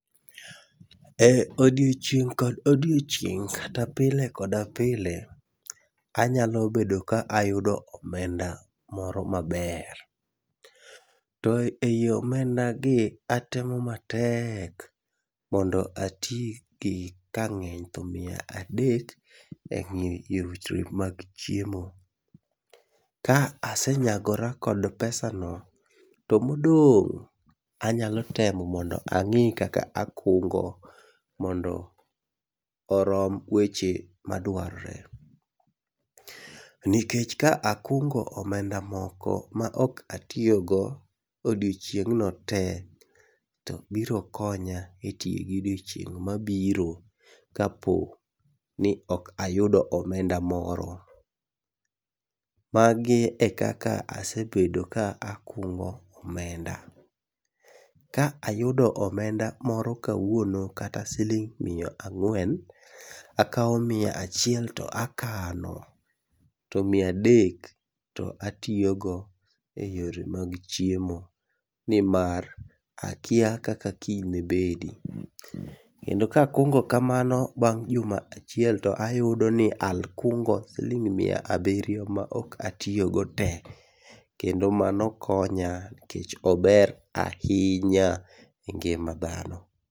E odiochieng' kod odiochieng' kata pile koda pile, anyalo bedo ka ayudo omenda moro maber. To ei omenda gi atemo matek mondo ati gi kang'eny to mia adek e weche mag chiemo. Ka asenyagora kod pesa no, to modong' anyalo temo mondo ang'i kaka akungo mondo orom weche madwar re. Nikech ka akungo omenda moko ma ok atiyogo odiochieng'no te, to birokonya e tie gi odiochieng' mabiro kapo ni ok ayudo omenda moro. Magi e kaka asebedo kakungo omenda. Ka ayudo omenda moro kawuono kata siling' mia ang'wen, akawo mia achiel to akano to mia adek to atiyogo e yore mag chiemo, nimar akia kaka kiny ne bedi. Kendo kakungo kamano bang' juma achiel to ayudo ni al kungo siling' mia abiriyo ma ok atiyogo te. Kendo mano konya nikech ober ahinya e ngima dhano.